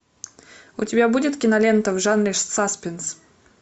у тебя будет кинолента в жанре саспенс